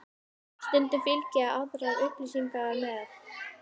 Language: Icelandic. Stundum fylgja aðrar upplýsingar með.